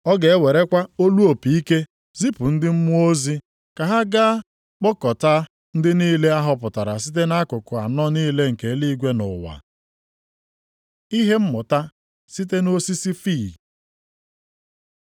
Ọ ga-ewerekwa olu opi ike zipụ ndị mmụọ ozi ka ha gaa kpọkọtaa ndị niile a họpụtara site nʼakụkụ anọ niile nke eluigwe na ụwa. Ihe mmụta site nʼosisi fiig